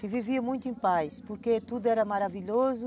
que vivia muito em paz, porque tudo era maravilhoso.